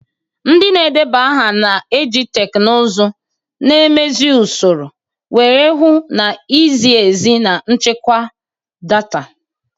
Ndị na-edeba aha na-eji teknụzụ, na-emezi usoro, wee hụ na izi ezi na nchekwa data.